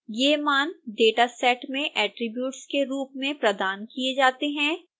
ये मान dataset में attributes के रूप में प्रदान किए जाते हैं